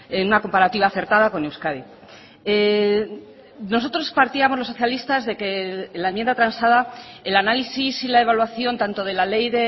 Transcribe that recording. en una comparativa acertada con euskadi nosotros partíamos los socialistas de que la enmienda transada el análisis y la evaluación tanto de la ley